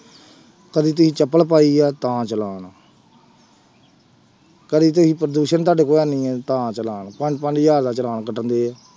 ਕਦੇ ਤੁਸੀਂ ਚੱਪਲ ਪਾਈ ਆ ਤਾਂ ਚਲਾਣ ਕਦੇ ਤੁਸੀਂ ਪ੍ਰਦੂਸ਼ਣ ਤੁਹਾਡੇ ਕੋਲ ਹੈਨੀ ਹੈ ਤਾ ਚਲਾਣ, ਪੰਜ ਪੰਜ ਹਜ਼ਾਰ ਦਾ ਚਲਾਣ ਕੱਟਦੇ ਹੈ।